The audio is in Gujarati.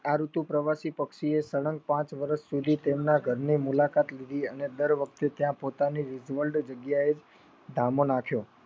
આ ઋતુ પ્રવતિ પક્ષીએ સલગ પાંચ વર્ષ સુધી તેમના ઘરની મુલાકાત લીધી અને દર વખતે ત્યાં પોતાની જગ્યાએ ઘામો નાખ્યો.